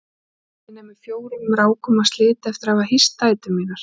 Maginn er með fjórum rákum af sliti eftir að hafa hýst dætur mínar.